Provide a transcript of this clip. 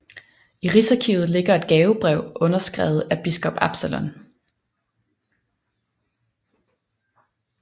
I Rigsarkivet ligger et gavebrev underskrevet af biskop Absalon